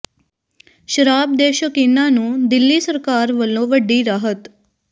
ਸ਼ਰਾਬ ਦੇ ਸ਼ੌਕੀਨਾਂ ਨੂੰ ਦਿੱਲੀ ਸਰਕਾਰ ਵੱਲੋਂ ਵੱਡੀ ਰਾਹਤ